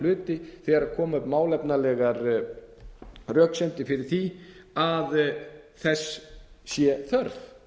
hluti þegar koma upp málefnalegar röksemdir fyrir því að þess sé þörf